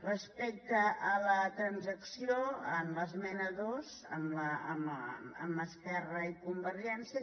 respecte a la transacció amb l’esmena dos amb esquerra i convergència